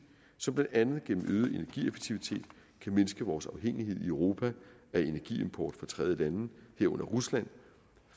som blandt andet gennem øget energieffektivitet kan mindske vores afhængighed i europa af energiimport fra tredjelande herunder rusland